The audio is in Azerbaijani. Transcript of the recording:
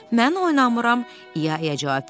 Mən oynamıram, İya-iya cavab verdi.